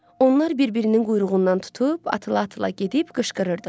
Onlar bir-birinin quyruğundan tutub, atıla-atıla gedib qışqırırdılar.